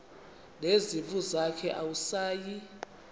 nezimvu zakhe awusayi